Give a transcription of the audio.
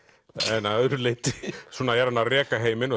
en að öðru leyti svona er hann að reka heiminn